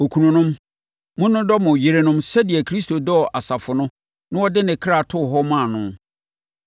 Okununom, monnodɔ mo yerenom sɛdeɛ Kristo dɔɔ asafo no na ɔde ne kra too hɔ maa no,